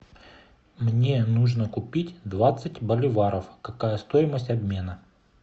мне нужно купить двадцать боливаров какая стоимость обмена